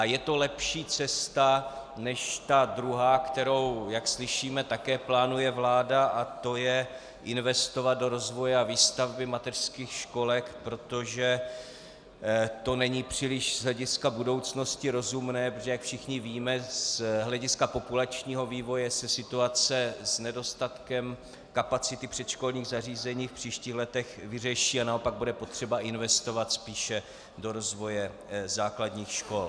A je to lepší cesta než ta druhá, kterou, jak slyšíme, také plánuje vláda, a to je investovat do rozvoje a výstavby mateřských školek, protože to není příliš z hlediska budoucnosti rozumné, protože jak všichni víme, z hlediska populačního vývoje se situace s nedostatkem kapacity předškolních zařízení v příštích letech vyřeší a naopak bude potřeba investovat spíše do rozvoje základních škol.